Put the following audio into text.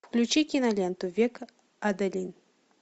включи киноленту век адалин